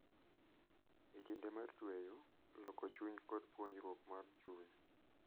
En kinde mar tweyo, loko chuny, kod puonjruok mar chuny.